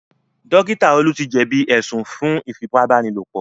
Dókítà Olú ti jẹ̀bí ẹ̀sùn fún Ífipá-báni-lòpọ̀